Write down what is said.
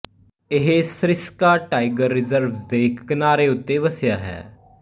ਇਹ Sariska tiger reserve ਦੇ ਇੱਕ ਕਿਨਾਰੇ ਉੱਤੇ ਵਸਿਆ ਹੈ